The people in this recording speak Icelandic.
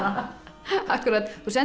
akkúrat þú sendir